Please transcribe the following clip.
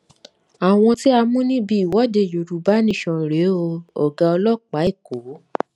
àwọn tí a mú níbi ìwọde yorùbá nation rèé o ọgá ọlọpàá èkó